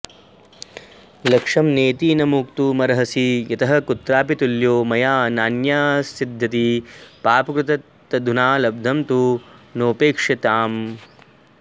लक्ष्यं नेति न मोक्तुमर्हसि यतः कुत्रापि तुल्यो मया नान्यस्सिद्ध्यति पापकृत् तदधुना लब्धं तु नोपेक्ष्यताम्